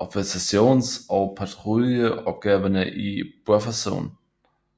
observations og patruljeopgaverne i bufferzonen